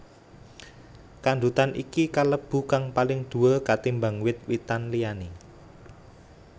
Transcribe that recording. Kandutan iki kalebu kang paling duwur ketimbang wit witan liyané